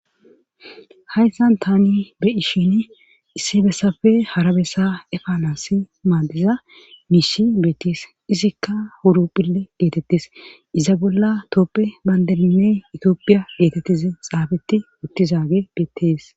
Hayssan tani be ishin issi bessafe hara bessa efa nasi maaddiza miishi beetees izikka uwuroppile geetettes iza bolla tooppe banderinne itiophiya geetettize xaabeti uttizaage bettees.